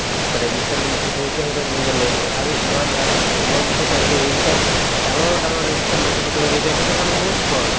register maintain কৰোতে সিহঁতৰ দিন যায় আৰু ইমান আৰু এ মই যিটো চাইছো এইকেইটাক ডাঙৰ ডাঙৰ register maintain কৰিব দিয়ে সিহঁতৰ কাৰণে বহুত সহজ